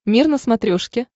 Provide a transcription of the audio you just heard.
мир на смотрешке